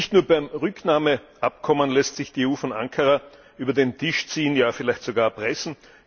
Nicht nur beim Rücknahmeabkommen lässt sich die EU von Ankara über den Tisch ziehen, ja vielleicht sogar erpressen.